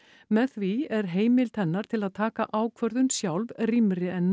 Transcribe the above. með því er heimild hennar til að taka ákvörðun sjálf rýmri en